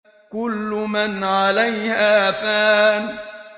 كُلُّ مَنْ عَلَيْهَا فَانٍ